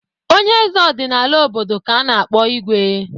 Onye eze ọdịnala obodo ka a na-akpọ Igwe.